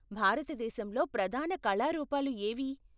భారతదేశంలో ప్రధాన కళా రూపాలు ఏవి?